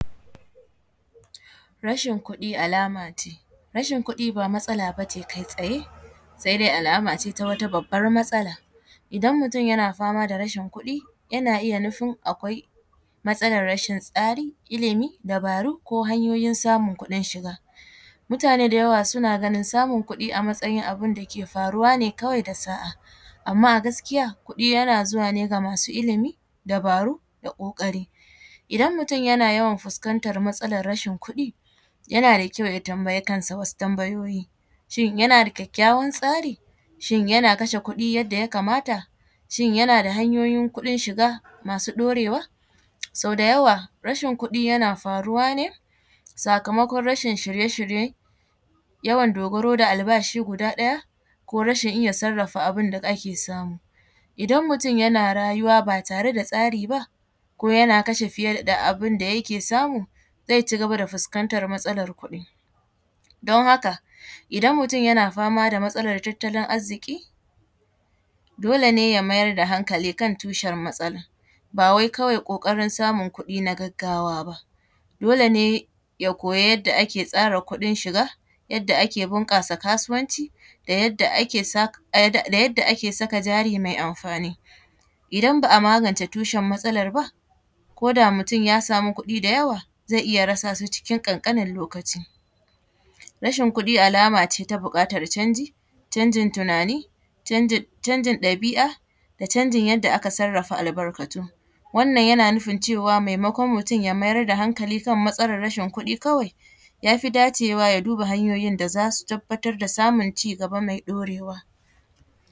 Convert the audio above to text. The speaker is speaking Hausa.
Rashin kuɗi alama ce, rashin kuɗi ba matsala ba ce kai tsaye sai dai alama ce ta wata babbar matsala idan mutum yana fama da rashin kuɗi yana iya nufin akwai matsalar rashin tsari, ilimi, dabaru, ko hanyoyin samun kudin shiga mutane da yawa suna ganin kuɗi a matsayin abun da ke faruwa ne kawai da sa’a amma a gaskiya kuɗi yana zuwa ne ga masu ilimi, dabaru da kokari idan mutum yana yawan fuskantar matsalar kuɗi yana da kyau ya tambayi kansa wasu tambayoyi shin yana da kyakyawan tsari shin yana kashe kuɗi yadda ya kamata, shin yana da hanyoyin kuɗin shiga masu ɗaurewa sau da yawa rashin kuɗi yana faruwa ne sakamakon rashin shirye-shirye yawan dogaro da albashi guda ɗaya ko rashin iya sarafa abin da ake samu idan mutum yana raruwa ba tare da tsari ba ko yana kashe fiye da abun da yake samu zai cigaba da fuskantar matsalar kuɗi, don haka idan mutum yana fama da matsalar tattalin arziki dole ne ya mayar da hankali tushen matsalar ba wai kawai kokarin samun kuɗi na gaggawa ba dole ne ya koyi yadda ake tsara kuɗin shiga yadda ake kara bunkasa kasuwanci da yadda ake saka jari mai amfani idan ba a magance tushen matsalar ba ko da mutum ya samu kuɗi da yawa zai iya rasa su cikin dan kankanin lokaci, rashin kuɗi alama ce ta bukatar canji canjin tunani, canjin ɗabi’a, da canjin yadda aka sarafa albarkatun wannan yana nufin cewa maimakon ya mayar da hankali kan matsalar kuɗi kawai yafi dacewa ya duba hanyoyin da zasu tabbatar da samun ci gaba mai ɗorewa.